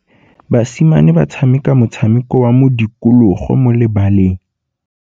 Basimane ba tshameka motshameko wa modikologô mo lebaleng.